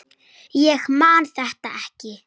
Ég man þetta ekki.